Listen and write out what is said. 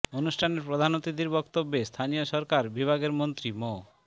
অনুষ্ঠানে প্রধান অতিথির বক্তব্যে স্থানীয় সরকার বিভাগের মন্ত্রী মো